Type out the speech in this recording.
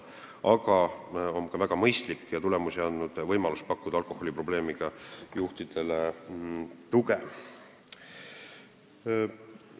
Aga on väga mõistlik pakkuda alkoholiprobleemiga juhtidele tuge ja see tegevus on ka tulemusi andnud.